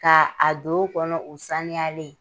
Ka a don u kɔnɔ u saniyalen.